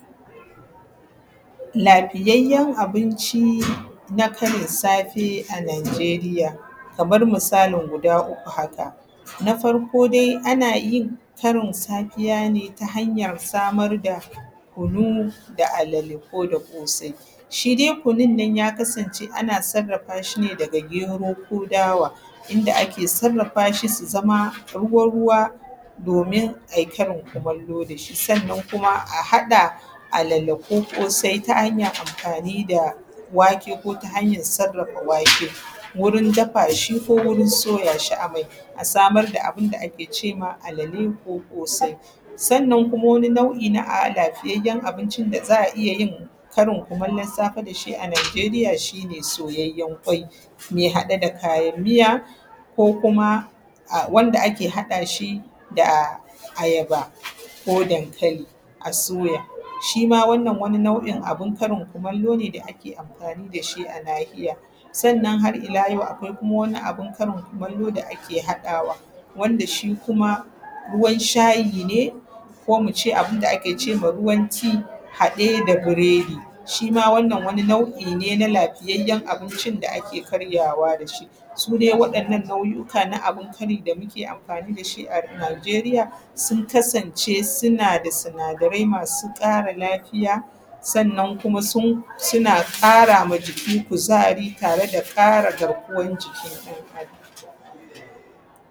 Lafiyayyen abinci na karin safe a Nijeriya, kamar misalin guda uku haka, na farko dai ana yin karin safiya ne ta hanyar samar da kunu da alale ko da ƙasai. Shi dai kunun nan ya kasance ana sarrafa shi ne daga gero ko dawa, inda ake sarrafa shi su zama ruwa-ruwa domin ai karin kumallo da shi, sannan kima a haɗa alale ko ƙasai ta hanyar amfani da wake ko ta hanyar sarrafa wake, wurin dafa shi ko soya shi a mai, a samar da abin da ake cewa alale ko ƙasai. Sannan kuma wani nau’I na a lafiyyen abinci da za a iya yin karin kumallon safe da shi a Nijeriya shi soyayyen ƙwai, me hade da kayan miya, ko kuma wanda ake haɗa shi da da ayaba, ko dankali a soya. Shi ma wannan wani nau’in abin karin kumallo ne da ake amfani da shi a nahiya. Sannan har ila yau akwai kuma wani abin karin kumallo da ake haɗawa, wanda shi kuma, ruwan shayi ne ko mi ce abin da ake cewa ruwan tea haɗe da biredi. Shi ma wannan wani nau’I ne na lafiyayyen abincin da ake karyawa da shi. Su dai waɗannan nau’uka na abincin kari da muke yin amfani da su a Nijeria, sun kasance suna da sinadarai masu ƙara lafiya, sannan kuma suna ƙara ma jiki kuzari tare da ƙara garkuwan jiki ɗan Adam.